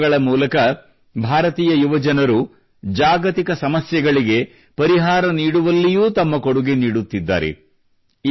ನವೋದ್ಯಮಗಳ ಮೂಲಕ ಭಾರತೀಯ ಯುವಜನರು ಜಾಗತಿಕ ಸಮಸ್ಯೆಗಳಿಗೆ ಪರಿಹಾರ ನೀಡುವಲ್ಲಿಯೂ ತಮ್ಮ ಕೊಡುಗೆ ನೀಡುತ್ತಿದ್ದಾರೆ